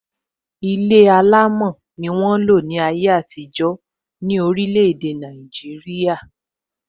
Ilé alámò ni won n lo ni aye atijọ ni orile ede naijiria.